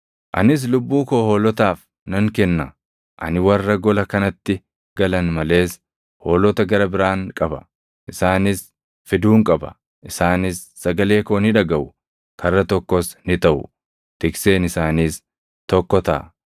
Ani warra gola kanatti galan malees hoolota gara biraan qaba. Isaanis fiduun qaba. Isaanis sagalee koo ni dhagaʼu; karra tokkos ni taʼu; tikseen isaaniis tokko taʼa.